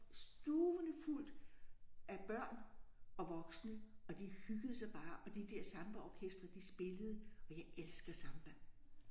Stuvende fuldt af børn og voksne og de hyggede sig bare og de der sambaorkestre de spillede og jeg elsker samba